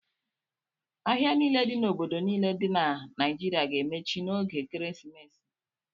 Ahịa niile dị n'obodo niile dị na Naịjirịa ga-emechi n'oge ekeresimesi.